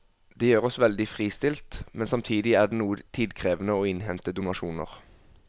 Det gjør oss veldig fristilt, men samtidig er det noe tidkrevende å innhente donasjoner.